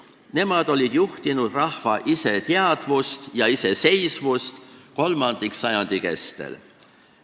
Nemad olid juhtinud rahva iseteadvust ja iseseisvust kolmandiksajandi kestel.